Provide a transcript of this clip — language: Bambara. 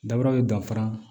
Daba bɛ danfara